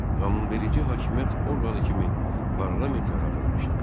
Qanunverici hakimiyyət orqanı kimi parlament yaradılmışdı.